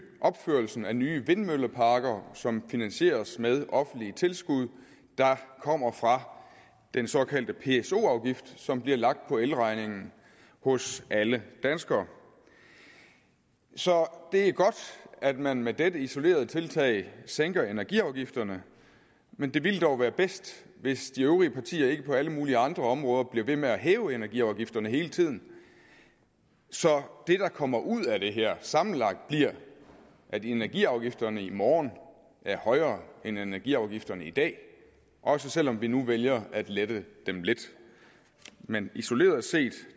opførelsen af nye vindmølleparker som finansieres med offentlige tilskud der kommer fra den såkaldte pso afgift som bliver lagt på elregningen hos alle danskere så det er godt at man med dette isolerede tiltag sænker energiafgifterne men det ville dog være bedst hvis de øvrige partier ikke på alle mulige andre områder blev ved med at hæve energiafgifterne hele tiden så det der kommer ud af det her sammenlagt bliver at energiafgifterne i morgen er højere end energiafgifterne i dag også selv om vi nu vælger at lette dem lidt men isoleret set